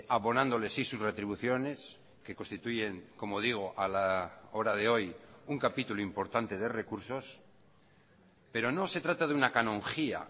abonándole sí sus retribuciones que constituyen como digo a la hora de hoy un capítulo importante de recursos pero no se trata de una canonjía